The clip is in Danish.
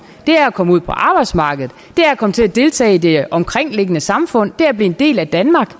komme ud på arbejdsmarkedet at komme til at deltage i det omkringliggende samfund at blive en del af danmark